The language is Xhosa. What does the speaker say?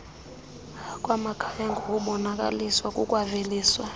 bamakhaya ngokubolekiswa kukwaveliswa